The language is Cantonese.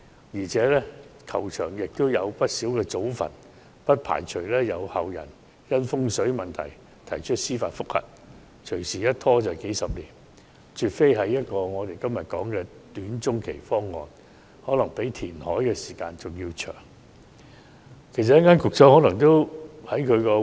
而且，球場內有不少祖墳，不排除有後人因風水問題提出司法覆核，隨時一拖數十年，絕非大家今天所辯論的短中期方案，可能較填海造地需時更長。